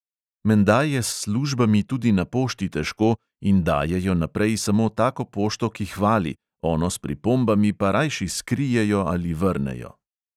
Menda je s službami tudi na pošti težko in dajejo naprej samo tako pošto, ki hvali, ono s pripombami pa rajši skrijejo ali vrnejo.